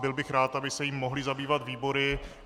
Byl bych rád, aby se jím mohly zabývat výbory.